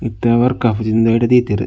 ಇತ್ತೆ ವೊರ್ಕ್ ಆಪುಜಿ ಉಂದು ಐಟ್ ದೀತೆರ್.